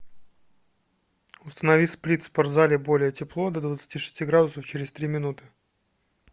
установи сплит в спортзале более тепло до двадцати шести градусов через три минуты